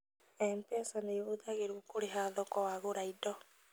MPESA nĩhũthagĩwo kũrĩha thoko wagũra indo